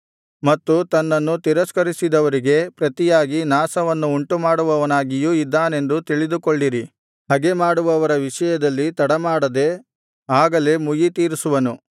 ತನ್ನನ್ನು ತಿರಸ್ಕರಿಸಿದವರಿಗೆ ಪ್ರತಿಯಾಗಿ ನಾಶವನ್ನು ಉಂಟುಮಾಡುವವನಾಗಿಯೂ ಇದ್ದಾನೆಂದು ತಿಳಿದುಕೊಳ್ಳಿರಿ ಹಗೆ ಮಾಡುವವರ ವಿಷಯದಲ್ಲಿ ತಡಮಾಡದೆ ಆಗಲೇ ಮುಯ್ಯಿತೀರಿಸುವನು